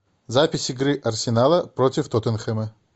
запись игры арсенала против тоттенхэма